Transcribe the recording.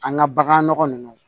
An ka bagan nɔgɔ nunnu